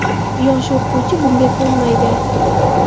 Yosh o‘qituvchi bunga ko‘nmaydi.